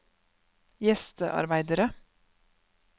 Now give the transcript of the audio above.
gjestearbeidere